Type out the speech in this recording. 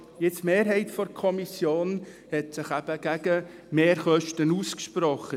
Die Mehrheit der Kommission hat sich gegen Mehrkosten ausgesprochen.